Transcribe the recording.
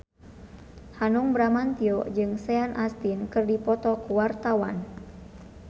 Hanung Bramantyo jeung Sean Astin keur dipoto ku wartawan